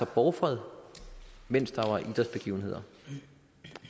borgfred mens der var idrætsbegivenheder